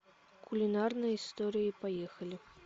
кулинарные истории поехали